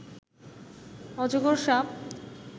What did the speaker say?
অজগর সাপ